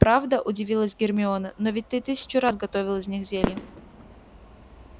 правда удивилась гермиона но ведь ты тысячу раз готовил из них зелья